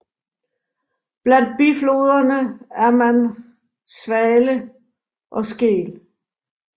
Blandt bifloderne er man Swale og Skell